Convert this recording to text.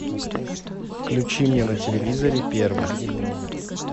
включи мне на телевизоре первый